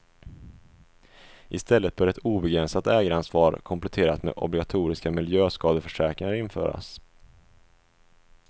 I stället bör ett obegränsat ägaransvar kompletterat med obligatoriska miljöskadeförsäkringar införas.